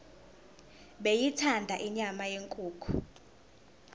beyithanda inyama yenkukhu